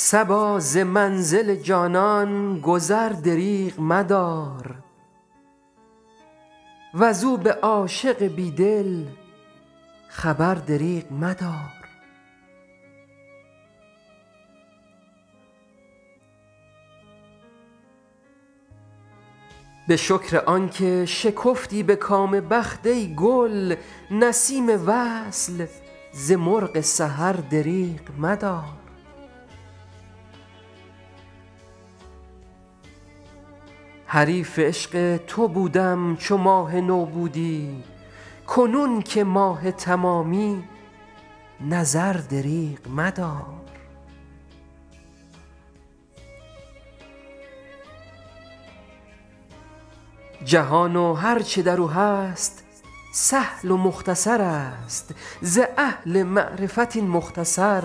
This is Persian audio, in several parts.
صبا ز منزل جانان گذر دریغ مدار وز او به عاشق بی دل خبر دریغ مدار به شکر آن که شکفتی به کام بخت ای گل نسیم وصل ز مرغ سحر دریغ مدار حریف عشق تو بودم چو ماه نو بودی کنون که ماه تمامی نظر دریغ مدار جهان و هر چه در او هست سهل و مختصر است ز اهل معرفت این مختصر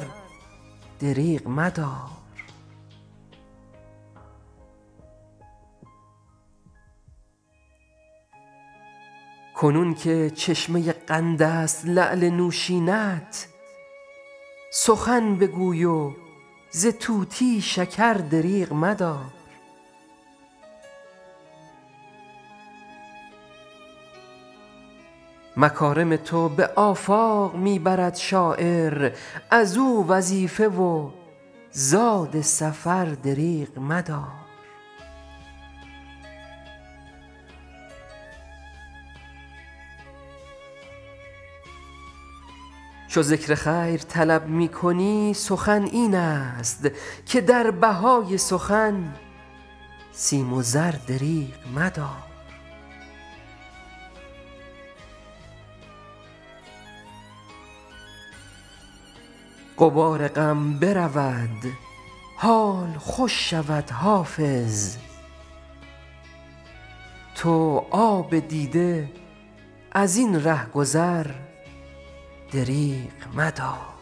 دریغ مدار کنون که چشمه قند است لعل نوشین ات سخن بگوی و ز طوطی شکر دریغ مدار مکارم تو به آفاق می برد شاعر از او وظیفه و زاد سفر دریغ مدار چو ذکر خیر طلب می کنی سخن این است که در بهای سخن سیم و زر دریغ مدار غبار غم برود حال خوش شود حافظ تو آب دیده از این ره گذر دریغ مدار